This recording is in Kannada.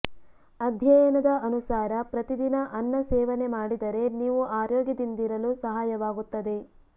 ಅಧ್ಯಯನದ ಅನುಸಾರ ಪ್ರತಿದಿನ ಅನ್ನ ಸೇವನೆ ಮಾಡಿದರೆ ನೀವು ಆರೋಗ್ಯದಿಂದಿರಲು ಸಹಾಯವಾಗುತ್ತದೆ